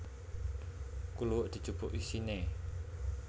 Kluwek dijupuk isine